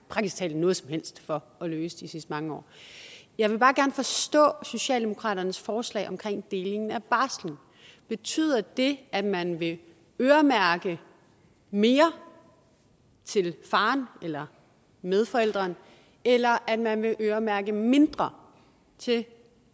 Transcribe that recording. noget som helst for at løse de sidste mange år jeg vil bare gerne forstå socialdemokraternes forslag om deling af barsel betyder det at man vil øremærke mere til faren eller medforælderen eller at man vil øremærke mindre til